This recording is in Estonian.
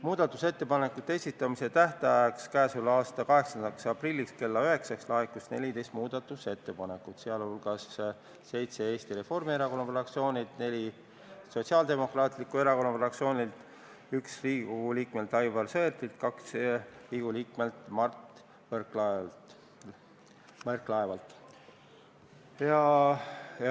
Muudatusettepanekute esitamise tähtajaks, k.a 8. aprilliks kella 9-ks laekus 14 muudatusettepanekut, neist seitse Eesti Reformierakonna fraktsioonilt, neli Sotsiaaldemokraatliku Erakonna fraktsioonilt, üks Riigikogu liikmelt Aivar Sõerdilt ja kaks Riigikogu liikmelt Mart Võrklaevalt.